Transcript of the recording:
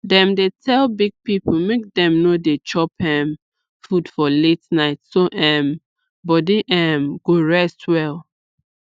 dem dey tell big people make dem no dey chop um food for late night so um body um go rest well